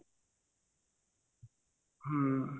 ହୁଁ